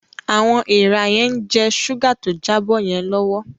Awọn èèrà yen jẹ ṣuga tó jabo yen lọwọ